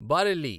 Bareilly